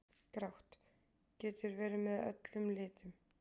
Grátt: Getur verið með öllum litum.